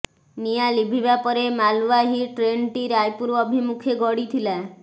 ନିଆଁ ଲିଭିବା ପରେ ମାଲ୍ବାହୀ ଟ୍ରେନ୍ଟି ରାୟପୁର ଅଭିମୁଖେ ଗଡ଼ିଥିଲା